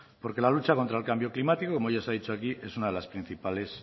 porque la lucha contra el cambio climático como ya se ha dicho aquí es una de las principales